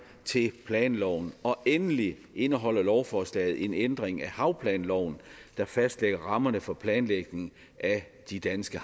til planloven og endelig indeholder lovforslaget en ændring af havplanloven der fastlægger rammerne for planlægning af de danske